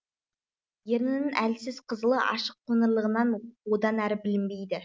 ернінің әлсіз қызылы ашық қоңырлығынан одан әрі білінбейді